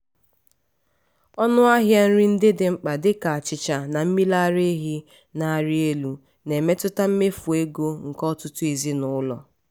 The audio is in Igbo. ọnụ ahịa nri ndị dị mkpa dịka achịcha na mmiri ara ehi na-arị elu na-emetụta mmefu ego nke ọtụtụ ezinụlọ.